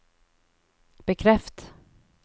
bekreft